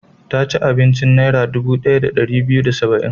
Ta ci abincin Naira dubu ɗaya da ɗari biyu da saba'in.